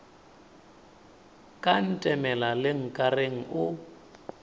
ka ntemela le nkareng o